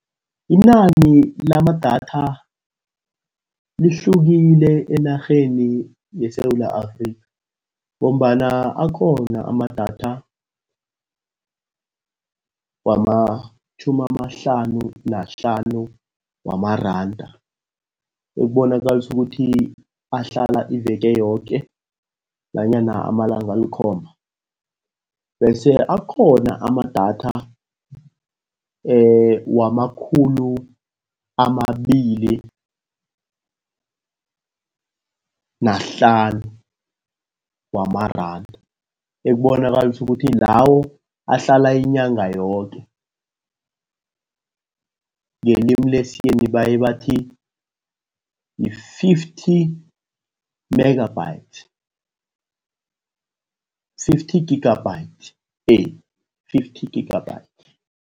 Inani lamadatha lihlukile enarheni yeSewula Afrika ngombana akhona amadatha wamatjhumi amahlanu nahlanu wamaranda. Ekubonakalisa ukuthi ahlala iveke yoke nanyana amalanga alikhomba. Bese akhona amadatha wamakhulu amabili nahlanu wamaranda. Ekubonakalisa ukuthi lawo ahlala inyanga yoke, ngelimi lesiyeni baye bathi yi-fifty megabytes, fifty megabytes fifty gigabytes.